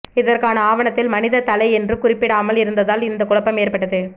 இதற்கான ஆவணத்தில் மனித தலை என்று குறிப்பிடாமல் இருந்ததால் இந்த குழப்பம் ஏற்பட்டது